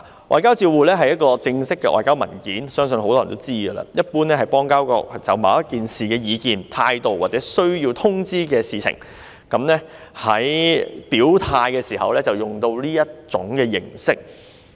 外交照會是一份正式的外交文件，相信很多人也知道，一般是指邦交國就某一事件的意見、態度而需要作出通知，在表態時使用的一種形式。